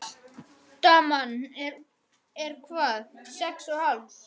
Daman er hvað. sex og hálfs?